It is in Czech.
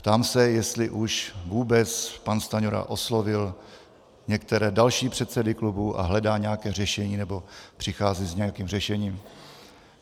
Ptám se, jestli už vůbec pan Stanjura oslovil některé další předsedy klubů a hledá nějaké řešení nebo přichází s nějakým řešením.